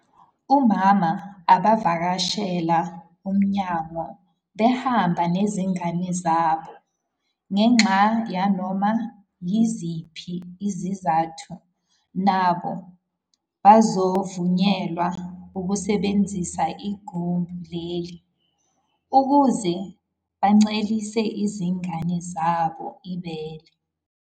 Omama abavakashela umnyango behamba nezingane zabo ngenxa yanoma yiziphi izizathu nabo bazovunyelwa ukusebenzisa igumbi leli ukuze bancelise izingane zabo ibele.